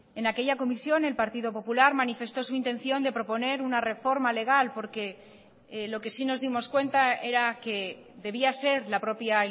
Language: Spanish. en aquella comisión el partido popular manifestó su intención de proponer una reforma legal porque lo que sí nos dimos cuenta era que debía ser la propia